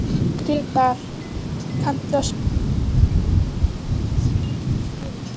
Gretar, kanntu að spila lagið „Þitt síðasta skjól“?